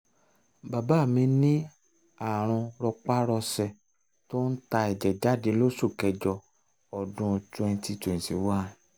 bàbá mi ní ààrùn rọpárọsẹ̀ tó ń ta ẹ̀jẹ̀ jáde lóṣù kẹ́jọ ọdún 2011